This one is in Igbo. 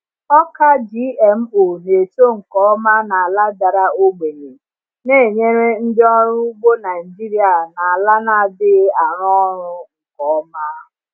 Ọka GMO na-eto nke ọma n’ala dara ogbenye, na-enyere ndị ọrụ ugbo Naijiria na ala na-adịghị arụ ọrụ nke ọma.